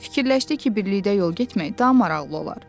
Fikirləşdi ki, birlikdə yol getmək daha maraqlı olar.